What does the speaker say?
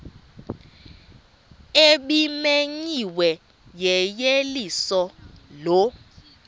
ebimenyiwe yeyeliso lo